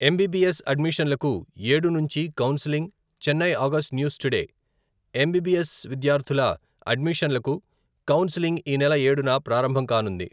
MBBS అడ్మిషన్లకు ఏడు నుంచి counselling, Chennai August news today, MBBS విద్యార్థుల అడ్మిషన్లకు కౌన్సలింగ్ ఈ నెల ఏడున ప్రారంభంకానుంది.